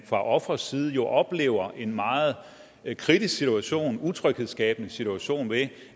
fra ofrets side oplever en meget kritisk situation en utryghedsskabende situation ved